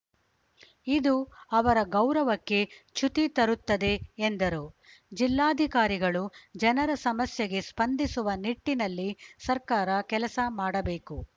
ಇದು ಅವರ ಗೌರವಕ್ಕೆ ಚ್ಯುತಿ ತರುತ್ತದೆ ಎಂದರು ಜಿಲ್ಲಾಧಿಕಾರಿಗಳು ಜನರ ಸಮಸ್ಯೆಗೆ ಸ್ಪಂದಿಸುವ ನಿಟ್ಟಿನಲ್ಲಿ ಸರ್ಕಾರ ಕೆಲಸ ಮಾಡಬೇಕು